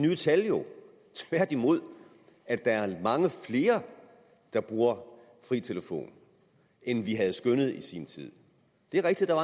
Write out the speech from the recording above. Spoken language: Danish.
viser jo tværtimod at der er mange flere der bruger fri telefon end vi skønnede i sin tid det er rigtigt at